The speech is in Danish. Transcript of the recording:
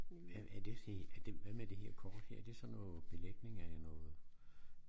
Hvad er er det hvad med det her kort er det sådan noget belægning af noget